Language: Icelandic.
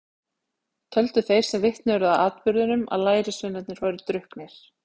Töldu þeir sem vitni urðu að atburðinum að lærisveinarnir væru drukknir.